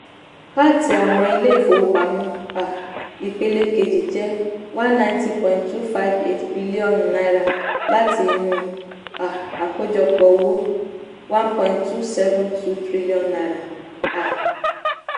pat àwọn ilé-ìfowópamọ́ um ìpele-kejì jẹ́ n one hundred ninety point two five eight bilionu láti inú um àkójọpọ̀ owó n one point two seven two trillion. um